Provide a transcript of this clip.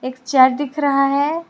एक चार दिख रहा है।